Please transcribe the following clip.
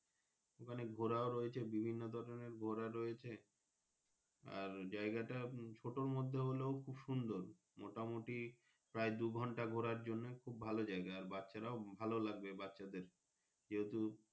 ওখানে ঘোড়া ও রয়েছে বিভিন্ন ধরণের ঘুরাও রয়েছে আর জায়গাটা ছোটোর মর্ধে হলেও খুব সুন্দর মোটামুটি প্রায় দু ঘন্টা ঘুরে জন্য খুব ভালো জায়গা বাচ্চা রাও ভালো লাগবে বাচ্চা দের যেহেতু।